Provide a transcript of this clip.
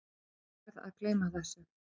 Ég verð að gleyma þessu.